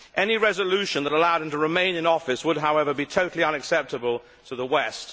Any resolution that allowed him to remain in office would, however, be totally unacceptable to the West.